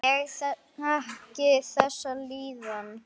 Ég þekki þessa líðan.